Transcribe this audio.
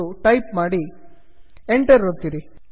ಎಂದು ಟೈಪ್ ಮಾಡಿ Enter ಒತ್ತಿರಿ